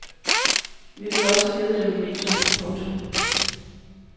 Vi ville også have givet dem en video. punktum